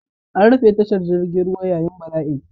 An rufe tashar jirgin ruwa yayin bala'in.